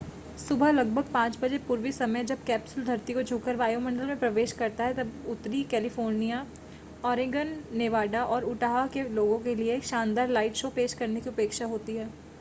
सुबह लगभग 5 बजे पूर्वी समय जब कैप्सूल धरती को छूकर वायुमंडल में प्रवेश करता है तब उत्तरी कैलिफ़ोर्निया ऑरेगन नेवाडा और उटाह के लोगों के लिए एक शानदार लाइट शो पेश करने की अपेक्षा होती है